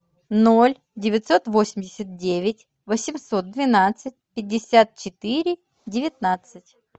ноль девятьсот восемьдесят девять восемьсот двенадцать пятьдесят четыре девятнадцать